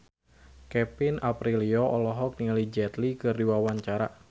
Kevin Aprilio olohok ningali Jet Li keur diwawancara